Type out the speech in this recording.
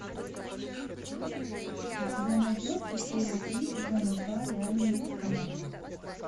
у тебя найдется серия три сезона два реальные пацаны